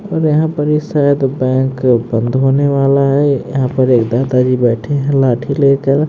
और यहां ये शायद बैंक बंद होने वाला है यहां पर एक दादाजी बैठे हैं लाठी लेकर--